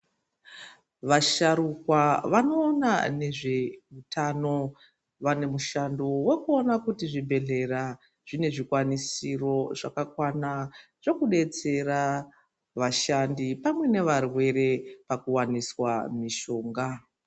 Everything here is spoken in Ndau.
Vasharukwa vanoona nezveutano vane mushando wekuona kuti zvibhedhlera zvine zvikwanisiro zvakakwana zvekudetsera vashandi pamwe nevarwere pakuwaniswa mishonga.